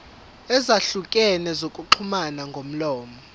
ezahlukene zokuxhumana ngomlomo